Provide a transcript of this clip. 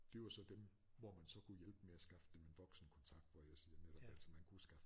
Det var så dem hvor man så kunne hjælpe med at skaffe dem en voksenkontakt hvor jeg siger netop altså man kunne skaffe